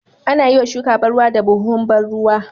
Anayiwa shuka ban ruwa da buhuhun ban ruwa